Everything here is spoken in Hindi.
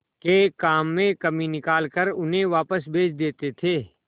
के काम में कमी निकाल कर उन्हें वापस भेज देते थे